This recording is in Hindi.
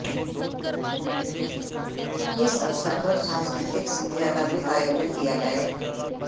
इस अवसर पर सांस्कृतिक संध्या का भी आयोजन किया जाये